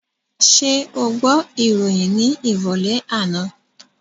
Ṣé o gbọ́ ìròyìn ní ìrọ̀lẹ́ àná?